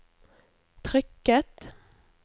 trykket